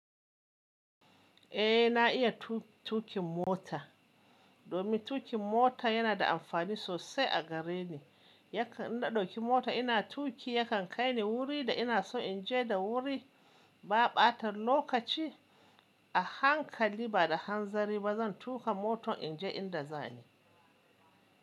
Eh na iya tu-tukin mota, domin tuƙin mota yana da amfani sosai a gare ni. Yakan na ɗauki mota ina tuƙi yakan kai ni wuri da ina so in je da wuri ba ɓatar lokaci a hankali ba da hanzari ba. Zan tuƙa motar in je inda zani.